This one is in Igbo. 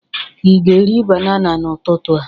Ị ga-eri banana n'ụtụtụ a?